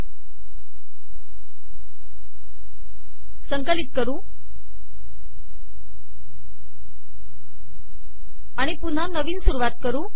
हे संकिलत कर आिण पुनहा नवीन सुरवात कर